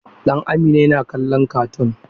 Dan Amina yana kallon katun.